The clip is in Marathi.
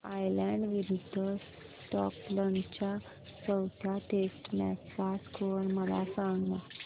आयर्लंड विरूद्ध स्कॉटलंड च्या चौथ्या टेस्ट मॅच चा स्कोर मला सांगना